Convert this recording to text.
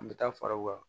An bɛ taa fara u kan